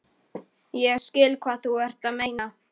Já, ég skil hvað þú ert að meina.